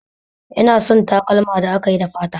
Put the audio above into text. Ina son takalma da akayi da fata